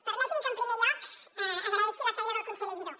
permetin me que en primer lloc agraeixi la feina del conseller giró